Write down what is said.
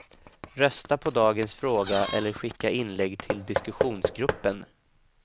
Rösta på dagens fråga eller skicka inlägg till diskussionsgruppen.